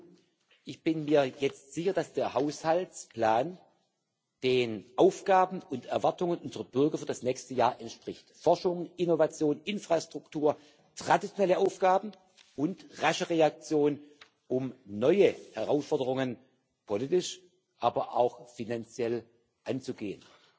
Kurzum, ich bin mir jetzt sicher, dass der Haushaltsplan den Aufgaben und Erwartungen unserer Bürger für das nächste Jahr entspricht, Forschung, Innovation, Infrastruktur, traditionelle Aufgaben und rasche Reaktion, um neue Herausforderungen politisch, aber auch finanziell anzugehen.